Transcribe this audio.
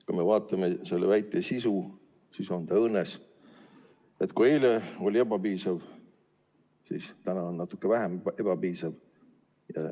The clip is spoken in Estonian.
Kui vaatame selle väite sisu, siis näeme, et see on õõnes: kui eile oli ebapiisav, siis täna on natuke vähem ebapiisav.